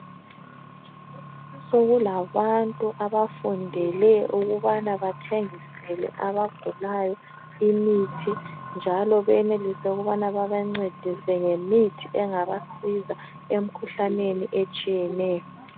sokula bantu abafundele ukubana bathengisele abagulayo imithi njalo benelise ukubana babancedise ngemithi engabasiza emkhuhlaneni etshiyeneyo.